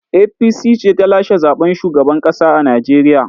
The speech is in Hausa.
APC ce ta lashe zaɓen shugaban ƙasa a Najeriya.